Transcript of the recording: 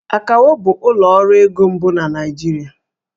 Akawo bụ ụlọ ọrụ ego mbụ na Naịjirịa